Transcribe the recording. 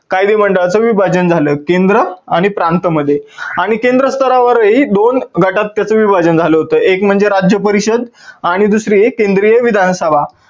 कायदे मांडळाच विभाजन झाल, केंद्र आणि प्रांत मध्ये आणि केंद्र स्तरावर ही दोन गटात त्याच विभाजन झाल होत. एक म्हणजे राज्य परिषद आणि दुसरी आहे केंद्रीय विधानसभा.